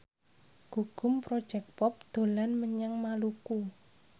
Gugum Project Pop dolan menyang Maluku